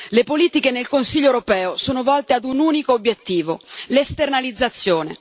Le politiche nel Consiglio europeo sono volte ad un unico obiettivo l'esternalizzazione.